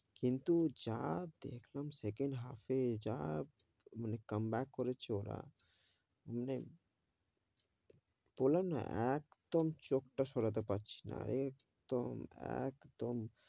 কিন্তু যা দেখলাম second half এ যা, মানে come back করেছে ওরা, মানে, বললাম না একদম চোখ তা সরাতে পারছি না, একদম একদম,